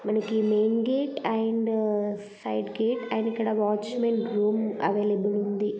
మనకి main gate and side gate and ఇక్కడ watchman room available ఉంది.